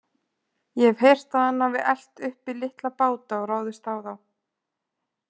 Ég hef heyrt að hann hafi elt uppi litla báta og ráðist á þá.